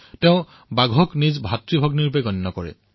তেওঁলোকে বাঘক ভাইভনী হিচাপে স্বীকাৰ কৰে